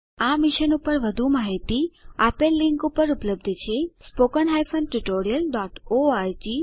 આ મિશન પર વધુ માહીતી આપેલ લીંક પર ઉપલબ્ધ છે httpspoken tutorialorgNMEICT Intro આ રીતે આ ટ્યુટોરીયલનો અંત થાય છે